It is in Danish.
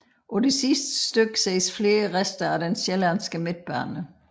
På det sidste stykke ses flere rester af den Sjællandske Midtbane